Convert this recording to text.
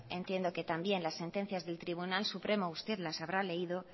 entiendo que también las sentencias del tribunal supremo usted las habrá leído